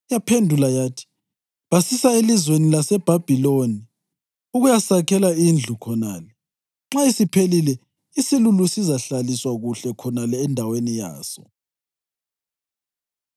Yaphendula yathi, “Basisa elizweni laseBhabhiloni ukuyasakhela indlu khonale. Nxa isiphelile isilulu sizahlaliswa kuhle khonale endaweni yaso.”